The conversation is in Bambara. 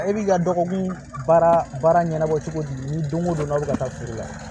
E b'i ka dɔgɔkun baara baara ɲɛnabɔ cogo di ni don ko don n'a bɛ ka taa foro la